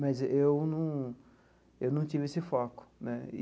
Mas eu num eu num tive esse foco né e.